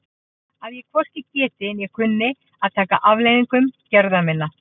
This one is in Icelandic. Að ég hvorki geti né kunni að taka afleiðingum gerða minna?